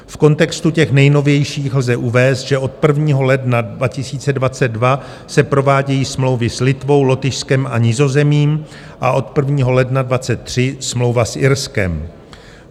V kontextu těch nejnovějších lze uvést, že od 1. ledna 2022 se provádějí smlouvy s Litvou, Lotyšskem a Nizozemím a od 1. ledna 2023 smlouva s Irskem.